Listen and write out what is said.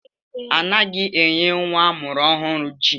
Anaghị enye nwa amụrụ ọhụrụ ji.